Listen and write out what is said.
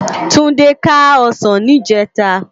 Tunde ká òsán nijètá